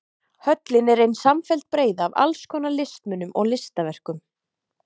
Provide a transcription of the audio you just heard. Höllin er ein samfelld breiða af alls konar listmunum og listaverkum.